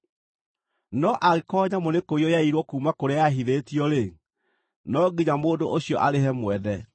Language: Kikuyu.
No angĩkorwo nyamũ nĩkũiywo yaiirwo kuuma kũrĩa yahithĩtio-rĩ, no nginya mũndũ ũcio arĩhe mwene.